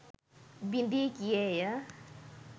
බිඳී ගියේය